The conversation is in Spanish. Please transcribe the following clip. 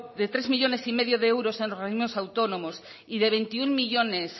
de tres millónes y medio de euros en organismos autónomos y de veintiuno millónes